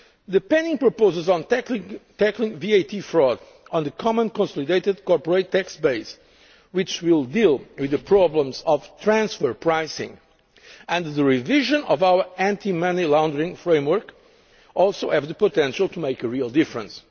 is there. The proposals pending on tackling VAT fraud, the Common Consolidated Corporate Tax Base, which will deal with the problems of transfer pricing, and the revision of our anti money laundering framework also have the potential to make a real difference.